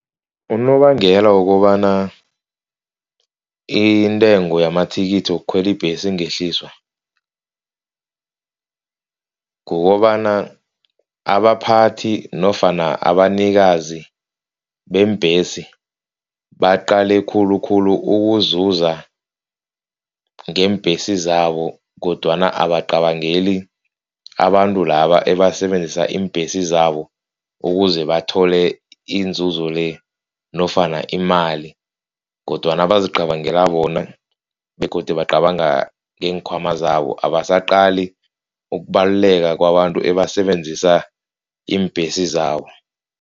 Unobangela wokobana intengo yamathikithi wokukhwela ibhesi ingehliswa, kukobana abaphathi nofana abanikazi beembhesi, baqale khulukhulu ukuzuza ngeembhesi zabo kodwana abacabangeli abantu laba ebasebenzisa iimbhesi zabo ukuze bathole inzuzo le nofana imali kodwana bazicabangela bona begodu bacabanga neenkhwama zabo. Abasacali ukubaluleka kwabantu ebasebenzisa iimbhesi zabo.